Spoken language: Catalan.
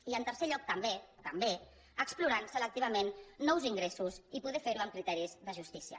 i en tercer lloc també també explorant selectivament nous ingressos i poder fer ho amb criteris de justícia